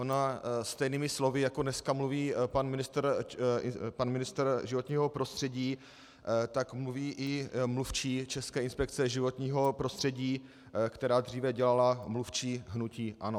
Ona stejnými slovy, jako dneska mluví pan ministr životního prostředí, tak mluví i mluvčí České inspekce životního prostředí, která dříve dělala mluvčí hnutí ANO.